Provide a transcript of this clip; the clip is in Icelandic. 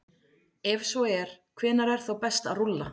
Ef svo er, hvenær er þá best að rúlla?